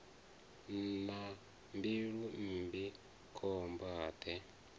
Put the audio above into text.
na mbilu mmbi khomba de